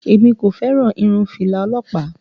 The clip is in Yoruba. Èmi kò fẹ́ràn irun fìlà ọlọ́pàá